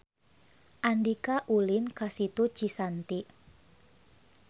Andika ulin ka Situ Cisanti